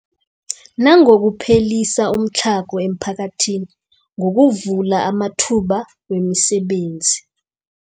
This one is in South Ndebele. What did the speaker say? Nangokuphelisa umtlhago emiphakathini ngokuvula amathuba wemisebenzi.